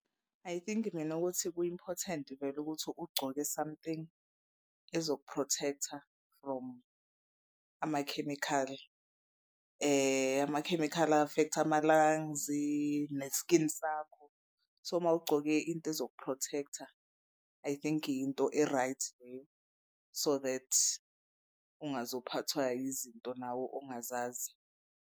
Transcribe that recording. I think mina ukuthi ku-important vele ukuthi ugcoke something ezoku-protect-a from amakhemikhali amakhemikhali a-affect ama-lung-zi ne-skin sakho. So mawugcoke into ezoku-protect-a I think into e-right leyo so that ungazophathwa izinto nawo ongazazi.